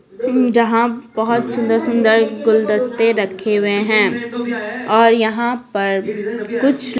जहाँ बहुत सुंदर-सुंदर गुलदस्ते रखे हुए हैं और यहाँ पर कुछ--